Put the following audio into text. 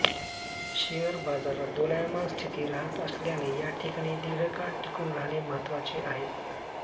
share बाजारात दोलायमान स्थिती राहत असल्याने या ठिकाणी दिर्घकाळ टिकून राहणे महत्त्वाचे आहे